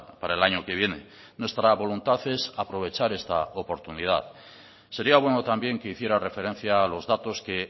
para el año que viene nuestra voluntad es aprovechar esta oportunidad sería bueno también que hiciera referencia a los datos que